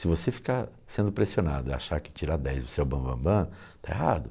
Se você ficar sendo pressionado e achar que tirar dez você é o bambambam, está errado.